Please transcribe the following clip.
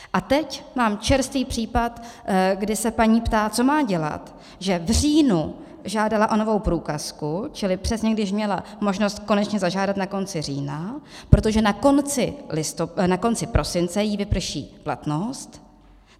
A teď mám čerstvý případ, kdy se paní ptá, co má dělat, že v říjnu žádala o novou průkazku, čili přesně, když měla možnost konečně zažádat na konci října, protože na konci prosince jí vyprší platnost.